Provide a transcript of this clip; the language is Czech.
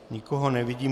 Nikoho nevidím.